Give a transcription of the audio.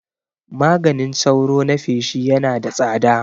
Maganin sauro na feshi Yana da tsada